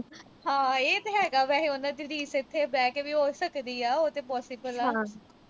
ਹਾਂ ਇਹ ਤੇ ਹੈਗਾ। ਵੈਸੇ ਉਨ੍ਹਾਂ ਦੀ ਰੀਸ ਇੱਥੇ ਬਹਿ ਕੇ ਵੀ ਹੋ ਸਕਦੀ ਆ, ਉਹ ਤੇ possible ਆ।